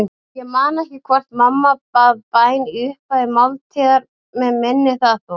Ég man ekki hvort mamma bað bæn í upphafi máltíðar, mig minnir það þó.